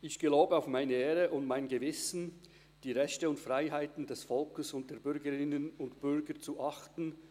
Ich bitte Frau Walpoth, mir die folgenden Worte nachzusprechen: